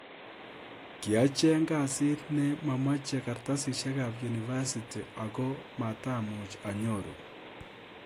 Kiiacheeng kasit ne momochei kartasisiek ab university oko matamuuch anyoru